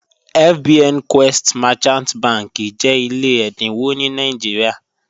FBN Quest Merchant bànḳì jẹ́ ilẹ̀ ẹ̀dínwọ̀ ní Nàìjíríà.